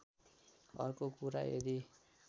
अर्को कुरा यदि